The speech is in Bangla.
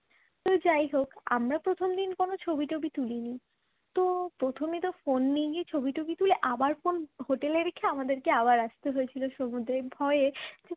তো যাই হোক আমরা প্রথম দিন কোন ছবি টবি তুলিনি তো প্রথমে তো ফোন নিয়ে গিয়ে ছবি টবি তুলে আবার ফোন হোটেলে রেখে আমাদেরকে আবার আসতে হয়েছিল সমুদ্রে ভয়ে